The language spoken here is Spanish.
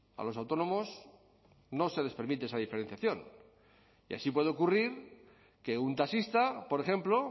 a los autónomos no se les permite esa diferenciación y así puede ocurrir que un taxista por ejemplo